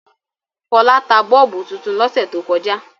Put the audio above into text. Fọlábí tra bọ́ọ́bú tuntun lọ́sẹ̀ tó kọjá.